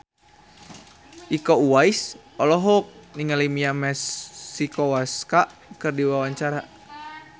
Iko Uwais olohok ningali Mia Masikowska keur diwawancara